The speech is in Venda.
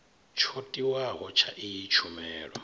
tsho tiwaho tsha iyi tshumelo